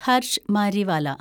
Harsh Mariwala